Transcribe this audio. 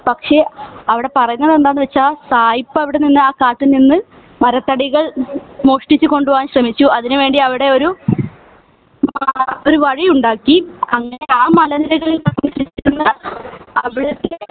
പക്ഷെ അവിടെ പറയുന്നതെന്താന്നുവെച്ചാൽ സായിപ്പ് അവിടെ നിന്ന് ആ കാട്ടിൽ നിന്ന് മരത്തടികൾ മോഷ്ടിച്ച് കൊണ്ടുപോകാൻ ശ്രമിച്ചു അതിനു വേണ്ടി അവിടെ ഒരു ഒരു വഴിയുണ്ടാക്കി അങ്ങിനെ ആ മലനിരകളിൽ അവിടുത്തെ